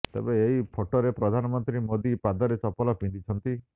ତେବେ ଏହି ଫଟୋରେ ପ୍ରଧାନମନ୍ତ୍ରୀ ମୋଦି ପାଦରେ ଚପଲ ପିନ୍ଧିଛନ୍ତି